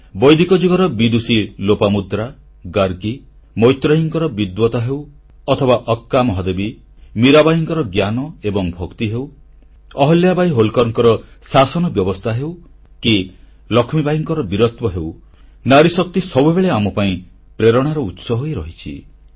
ବୈଦିକ ଯୁଗର ବିଦୁଷୀ ଲୋପାମୁଦ୍ରା ଗାର୍ଗୀ ମୈତ୍ରେୟୀଙ୍କର ବିଦବତ୍ତା ହେଉ ଅଥବା ଆକ୍କା ମହାଦେବୀ ମୀରାବାଈଙ୍କର ଜ୍ଞାନ ଏବଂ ଭକ୍ତି ହେଉ ଅହଲ୍ୟା ବାଇ ହୋଲ୍କରଙ୍କ ଶାସନବ୍ୟବସ୍ଥା ହେଉ କି ଲକ୍ଷ୍ମୀବାଇଙ୍କର ବୀରତ୍ୱ ହେଉ ନାରୀଶକ୍ତି ସବୁବେଳେ ଆମପାଇଁ ପ୍ରେରଣାର ଉତ୍ସ ହୋଇ ରହିଆସିଛନ୍ତି